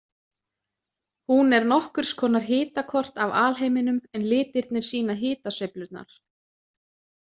Hún er nokkurs konar hitakort af alheiminum en litirnir sýna hitasveiflurnar.